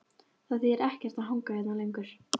Það þýðir ekkert að hanga hérna lengur.